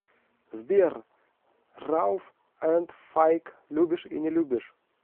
сбер рауф энд файк любишь и не любишь